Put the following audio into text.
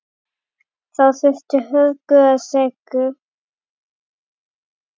Þá þurfti hörku og seiglu.